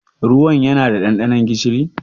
Ruwan ya na da ɗanɗanon gishiri?